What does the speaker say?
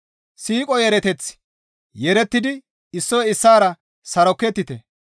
Siiqo yeereteth yeerettidi issoy issaara sarokettite.